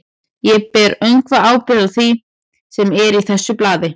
Ég ber öngva ábyrgð á því, sem er í þessu blaði.